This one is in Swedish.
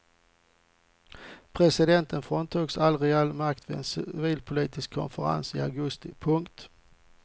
Presidenten fråntogs all reell makt vid en civil politisk konferens i augusti. punkt